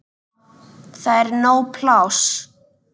Það er nóg pláss.